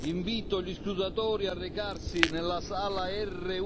Invito gli scrutatori a recarsi nella sala